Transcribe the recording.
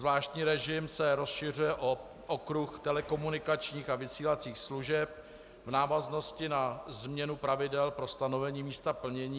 Zvláštní režim se rozšiřuje o okruh telekomunikačních a vysílacích služeb v návaznosti na změnu pravidel pro stanovení místa plnění.